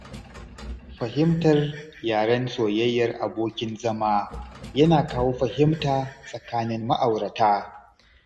Fahimtar yaren soyayyar abokin zama yana kawo fahimta tsakanin ma'aurata